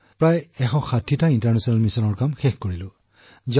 প্ৰায় ১৬০টা আন্তৰ্জাতিক মিছন সম্পন্ন কৰিছো